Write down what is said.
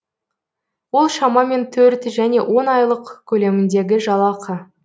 ол шамамен төрт және он айлық көлеміндегі жалақы